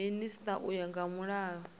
minisita u ya nga mulayo